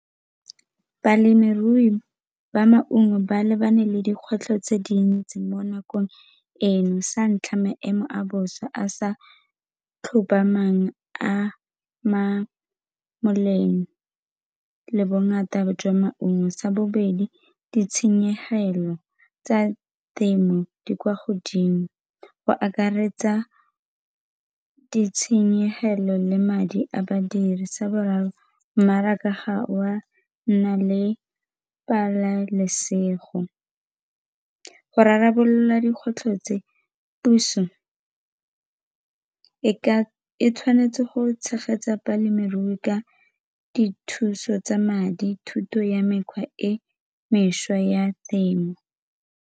Balemirui ba maungo ba lebane le dikgwetlho tse dintsi mo nakong eno sa ntlha, maemo a bosa a sa tlhomamang a ama boleng le bongata jwa maungo. Sa bobedi, ditshenyegelo tsa temo di kwa godimo go akaretsa ditshenyegelo le madi a badiri. Sa boraro, mmaraka ga o a nna le pabalesego. Go rarabolola dikgwetlho tse, puso e ka e tshwanetse go tshegetsa balemirui ka dithuso tsa madi, thuto ya mekgwa e mešwa ya temo.